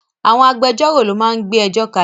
Àwọn agbẹjọ́rò lo máa ń gbé ẹjọ́ kalẹ̀